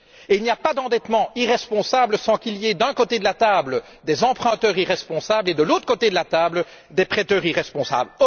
Il n'y a pas d'endettement irresponsable sans qu'il y ait, d'un côté de la table, des emprunteurs irresponsables et, de l'autre, des prêteurs irresponsables.